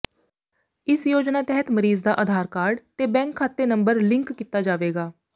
ਇਸ ਯੋਜਨਾ ਤਹਿਤ ਮਰੀਜ਼ ਦਾ ਅਧਾਰ ਕਾਰਡ ਤੇ ਬੈਂਕ ਖਾਤੇ ਨੰਬਰ ਲਿੰਕ ਕੀਤਾ ਜਾਵੇਗਾ